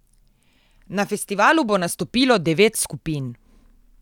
Na festivalu bo nastopilo devet skupin.